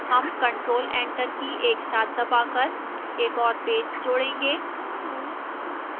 हम ctrl + enter की एक साथ दबाकर एक और पेज जोड़ेंगे